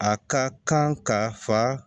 A ka kan ka fa